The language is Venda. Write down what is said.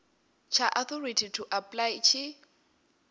tsha authority to apply tshi